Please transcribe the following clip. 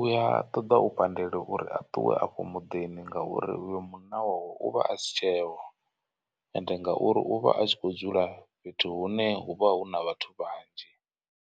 Uya toḓa u pandelwa uri a ṱuwe afho muḓini ngauri uyo munna wawe uvha a si tsheho. Ende ngauri u vha a tshi kho dzula fhethu hune hu vha hu na vhathu vhanzhi.